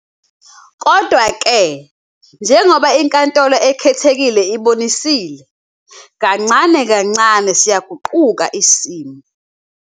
Kodwa-ke, njengoba iNkantolo Ekhethekile ibonisile, kancane kancane siyasiguqula isimo.